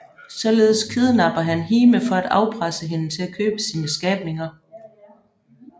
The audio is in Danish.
Således kidnapper han Hime for at afpresse hende til at købe sine skabninger